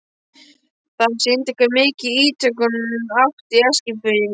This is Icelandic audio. Það sýndi hve mikil ítök hún átti í Eskfirðingum.